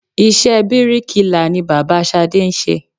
Iṣẹ́ bíríkilà ni bàbá Ṣadé ń ṣe.